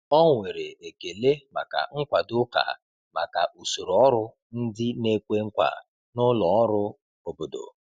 Ọ nwere ekele maka nkwado ụka maka usoro ọrụ ndị na-ekwe nkwa na ụlọ ọrụ obodo.